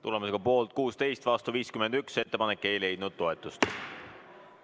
Tulemusega poolt 16, vastu 51 ei leidnud ettepanek toetust.